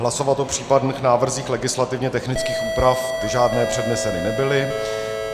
Hlasovat o případných návrzích legislativně technických úprav - ty žádné předneseny nebyly.